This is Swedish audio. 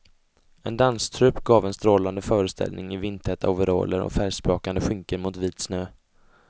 En danstrupp gav en strålande föreställning i vindtäta overaller och färgsprakande skynken mot vit snö.